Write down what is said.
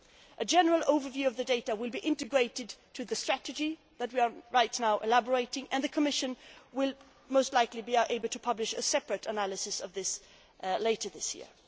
A general overview of the data will be integrated into the strategy on which we are currently working, and the Commission will most likely be able to publish a separate analysis of this later this year.